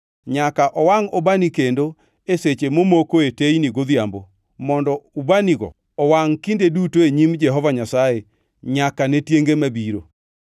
Nyaka owangʼ ubani kendo e seche momokoe teyni godhiambo mondo ubanigo owangʼ kinde duto e nyim Jehova Nyasaye nyaka ne tienge mabiro.